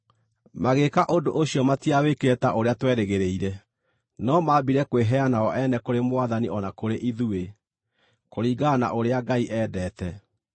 Magĩĩka ũndũ ũcio matiawĩkire ta ũrĩa twerĩgĩrĩire, no maambire kwĩheana o ene kũrĩ Mwathani o na kũrĩ ithuĩ, kũringana na ũrĩa Ngai endete.